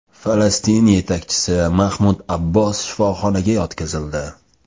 Falastin yetakchisi Mahmud Abbos shifoxonaga yotqizildi.